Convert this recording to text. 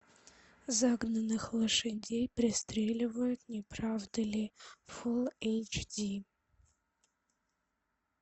загнанных лошадей пристреливают не правда ли фул эйч ди